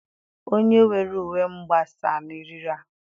Onye were uwe m gbasaa na eriri a.